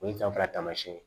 O ye danfara taamasiyɛn ye